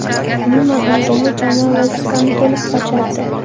Umuman olganda, jamoa vazifani to‘liq bajardi.